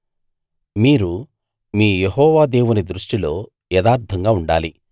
మీరు మీ యెహోవా దేవుని దృష్టిలో యథార్థంగా ఉండాలి